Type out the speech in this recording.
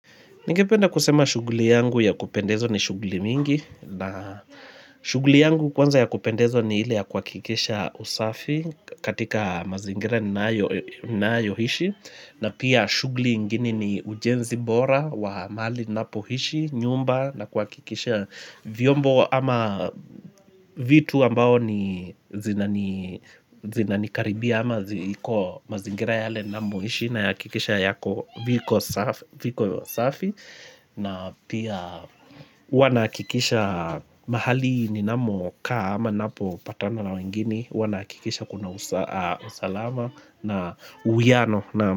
Ningependa kusema shughuli yangu ya kupendezwa ni shughuli mingi na shughuli yangu kwanza ya kupendezwa ni ile ya kwa kuhakikisha usafi katika mazingira na yohishi na pia shughuli ingine ni ujenzi bora wa mali na poishi nyumba na kuhakikisha vyombo ama vitu ambao ni zinanikaribia ama ziko mazingira yale namoishi na ya kikisha yako viko usafi. Na pia hua nahakikisha mahali ninamokaa ama napo patana na wengine hua nahakikisha kuna usalama na uwiano nao.